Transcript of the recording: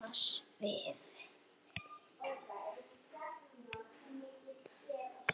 Sama svið.